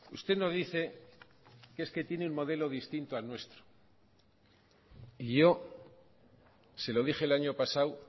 usted no dice que es que tiene un modelo distinto al nuestro y yo se lo dije el año pasado